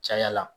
Caya la